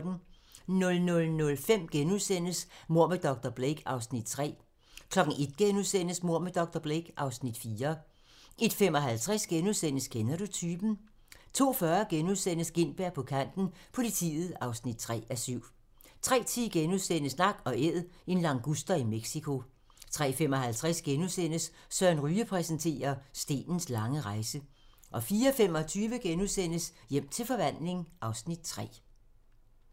00:05: Mord med dr. Blake (Afs. 3)* 01:00: Mord med dr. Blake (Afs. 4)* 01:55: Kender du typen? * 02:40: Gintberg på kanten – Politiet (3:7)* 03:10: Nak & Æd - en languster i Mexico * 03:55: Søren Ryge præsenterer - stenens lange rejse * 04:25: Hjem til forvandling (Afs. 3)*